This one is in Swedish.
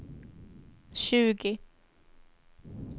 tjugo